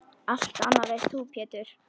Allt annað veist þú Pétur.